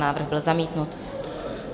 Návrh byl zamítnut.